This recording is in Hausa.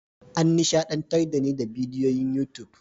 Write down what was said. An nishadantar da ni a bidiyon YouTube.